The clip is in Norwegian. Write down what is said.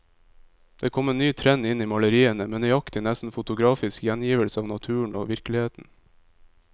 Det kom en ny trend inn i maleriene, med nøyaktig, nesten fotografisk gjengivelse av naturen og virkeligheten.